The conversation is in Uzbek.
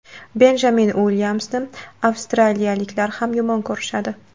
Benjamin Uilyamsni avstraliyaliklar ham yomon ko‘rishadi.